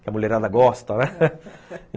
Que a mulherada gosta, né?